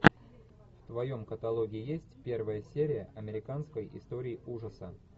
в твоем каталоге есть первая серия американской истории ужаса